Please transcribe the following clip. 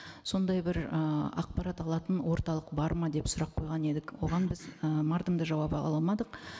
сондай бір ыыы ақпарат алатын орталық бар ма деп сұрақ қойған едік оған біз ы мардымды жауап ала алмадық